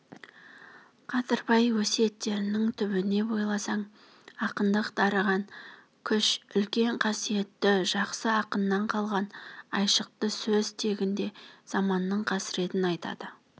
қадырбай өсиеттерінің түбіне бойласаң ақындық дарыған күш үлкен қасиетті жақсы ақыннан қалған айшықты сөз тегінде заманның қасіретін айтады